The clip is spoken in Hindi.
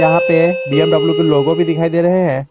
यहा पे बी_एम_डब्ल्यू के लोगो भी दिखाई दे रहे हैं।